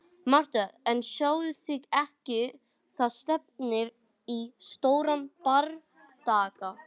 MATTHÍAS: En sjáið þið ekki: það stefnir í stóran bardaga.